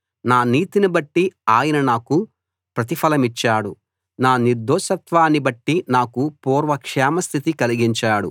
నా నీతినిబట్టి ఆయన నాకు ప్రతిఫలమిచ్చాడు నా నిర్దోషత్వాన్ని బట్టి నాకు పూర్వ క్షేమ స్థితి కలిగించాడు